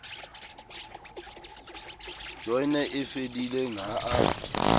joyene e fedileng ha a